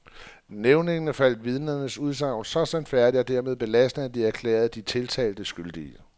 Nævningene fandt vidnernes udsagn så sandfærdige og dermed belastende, at de erklærede de tiltalte skyldige.